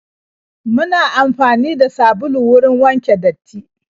Muna amfani da sabulu wurin wanke datti.